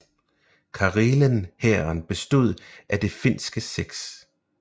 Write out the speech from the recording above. Karelen Hæren bestod af det finske 6